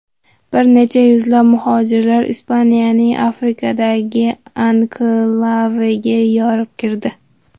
Bir necha yuzlab muhojirlar Ispaniyaning Afrikadagi anklaviga yorib kirdi.